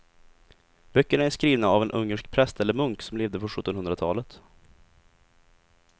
Böckerna är skrivna av en ungersk präst eller munk som levde på sjuttonhundratalet.